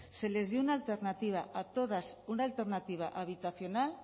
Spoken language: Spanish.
se les dio una alternativa a todas una alternativa habitacional